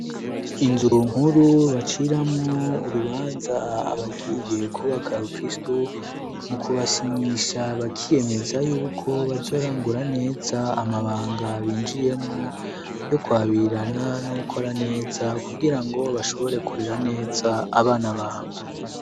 Inzu nkuru baciramwo urubanza abagiye kubaka rukristu mu kubasinyisha bakiyemeza yuko bazorangura neza amabanga binjiyemwo yo kwabirana no gukora neza kugira ngo bashobore gukorera neza abana babo.